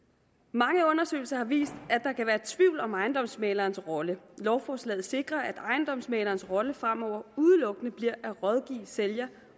mange undersøgelser har vist at om ejendomsmæglerens rolle lovforslaget sikrer at ejendomsmæglerens rolle fremover udelukkende bliver at rådgive sælger